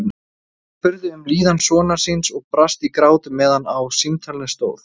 Hún spurði um líðan sonar síns og brast í grát meðan á símtalinu stóð.